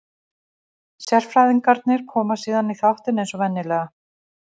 Sérfræðingarnir koma síðan í þáttinn eins og venjulega.